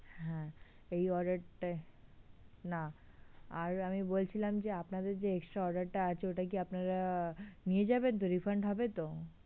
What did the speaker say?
হ্যাঁ, এই order টায় না আর আমি বলছিলাম যে আপনাদের যে extra order টা আছে ওটা কি আপনারা নিয়ে যাবেন তো, refund হবে তো?